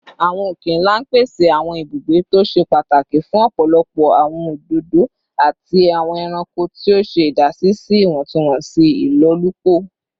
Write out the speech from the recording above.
Awọn oke-nla pese awọn ibugbe to ṣe pataki fun ọpọlọpọ awọn ododo ati awọn ẹranko, ti o ṣe idasi si iwọntunwọnsi ilolupo